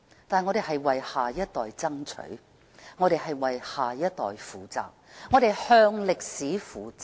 但是，我們是為下一代爭取；我們為下一代負責；我們向歷史負責。